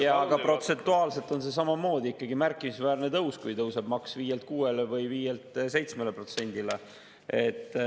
Jah, aga protsentuaalselt on see samamoodi ikkagi märkimisväärne tõus, kui maks tõuseb 5%‑lt 6%‑le või 5%‑lt 7%‑le.